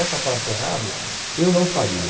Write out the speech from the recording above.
Essa parte errado eu não faria.